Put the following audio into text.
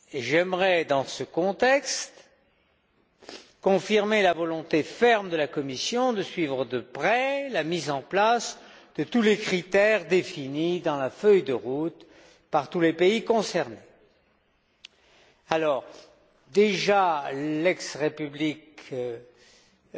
J'aimerais, dans ce contexte, confirmer la volonté ferme de la Commission de suivre de près la mise en place de tous les critères définis dans la feuille de route par tous les pays concernés. L'ancienne République yougoslave